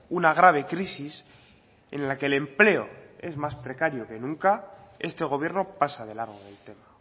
una grave crisis en la que el empleo es más precario que nunca este gobierno pasa de largo del tema